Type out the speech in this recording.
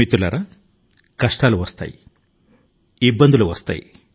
మిత్రులారా కష్టాలు మన మీదకు వస్తాయి విపత్తు లు మనల ను ఎదుర్కొంటాయి